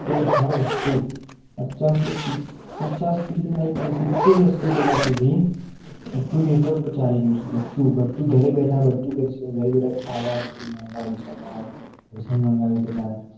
જેવી હર વસ્તુ પચાસ થી પચાસ થી તો નહીં પણ સિત્તેર એશી point સુધી બધું network માં ચાલી રહી છે. બધું બધું ઘરે બેઠા બધું કરી શકો. નહિ બેટા ખાવાનું ખાવાનું મંગાવી શકાય. ભોજન મંગાવી શકાય.